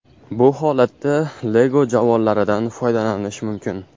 Bu holatda Lego javonlaridan foydalanish mumkin.